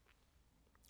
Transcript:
DR K